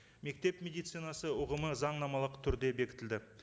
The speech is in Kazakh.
мектеп медицинасы ұғымы заңнамалық түрде бекітілді